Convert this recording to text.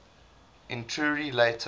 entury later